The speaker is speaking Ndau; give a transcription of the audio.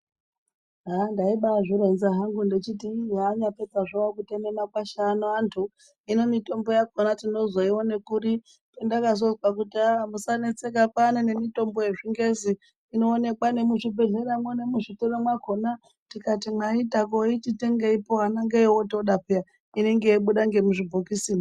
Handaibazvironza hangu ndechiti ihanyapedza hawo kuteme makwasha antu hino mitombo yakona tinozoiwone kuri pendakazozwa kuti ha musanetseka kwanemitombo yezvingezi inoonekwa nemuzvibhehlera mwo nemuzvitoro mwakona tikatimwaita koitiyenge anonge oyoda piyani unenge yeibuda ngemuzvibhokisi